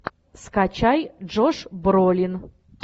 скачай джош бролин